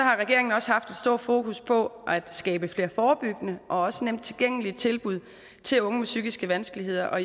regeringen også haft et stort fokus på at skabe flere forebyggende og også nemt tilgængelige tilbud til unge med psykiske vanskeligheder og